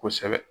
Kosɛbɛ